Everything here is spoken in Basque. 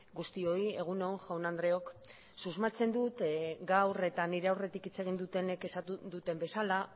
guztioi egun on jaun andreok susmatzen dut gaur eta nire aurretik hitz egin dutenek esan duten bezala